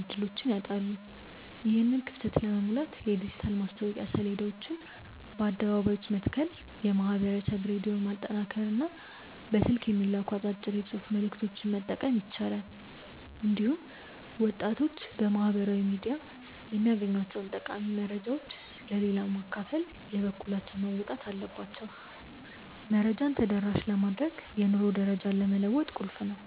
ዕድሎችን ያጣሉ። ይህንን ክፍተት ለመሙላት የዲጂታል ማስታወቂያ ሰሌዳዎችን በአደባባዮች መትከል፣ የማኅበረሰብ ሬዲዮን ማጠናከርና በስልክ የሚላኩ አጫጭር የጽሑፍ መልዕክቶችን መጠቀም ይቻላል። እንዲሁም ወጣቶች በማኅበራዊ ሚዲያ የሚያገኟቸውን ጠቃሚ መረጃዎች ለሌላው በማካፈል የበኩላቸውን መወጣት አለባቸው። መረጃን ተደራሽ ማድረግ የኑሮ ደረጃን ለመለወጥ ቁልፍ ነው።